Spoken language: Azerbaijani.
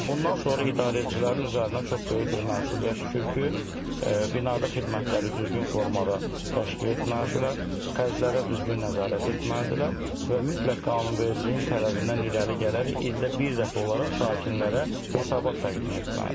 Və bundan sonra idarəçilərin üzərinə çox böyük bir məsuliyyət düşür ki, binada xidmətləri düzgün formada təşkil etməlidirlər, xərclərə düzgün nəzarət etməlidirlər və mütləq qanunvericiliyin tələbindən irəli gələrək ildə bir dəfə olaraq sakinlərdə hesabat təqdim etməlidirlər.